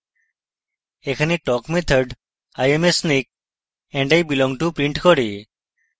এখানে talk method i am a snake and i belong to prints করে